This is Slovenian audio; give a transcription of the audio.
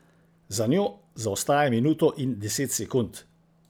Za njo zaostaja minuto in deset sekund.